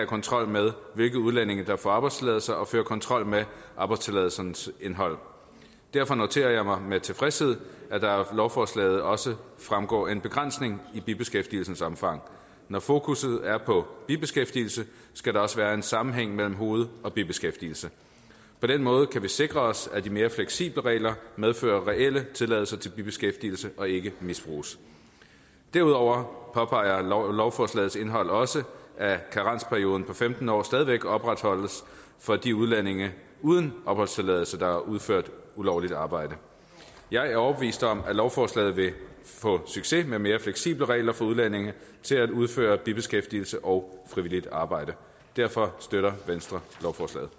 kontrol med hvilke udlændinge der får arbejdstilladelse og føre kontrol med arbejdstilladelsernes indhold derfor noterer jeg mig med tilfredshed at der af lovforslaget også fremgår en begrænsning i bibeskæftigelsens omfang når fokusset er på bibeskæftigelse skal der også være en sammenhæng mellem hoved og bibeskæftigelse på den måde kan vi sikre os at de mere fleksible regler medfører reelle tilladelser til bibeskæftigelse og ikke misbruges derudover påpeger lovforslagets indhold også at karensperioden på femten år stadig væk opretholdes for de udlændinge uden opholdstilladelse der har udført ulovligt arbejde jeg er overbevist om at lovforslaget vil få succes med mere fleksible regler for udlændinge til at udføre bibeskæftigelse og frivilligt arbejde derfor støtter venstre lovforslaget